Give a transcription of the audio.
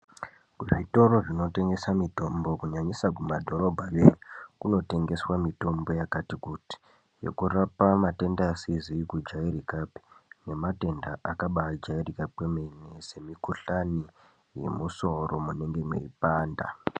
Kuzvitoro zvinotengesa mitombo kunyanyisa kumadhorobha yoyo kunotengeswa mitombo yakati kuti. Yekurapa matenda asizi kujairikapi nematenda akabajairika kwemene semikuhlani yemusoro munenge meipanda.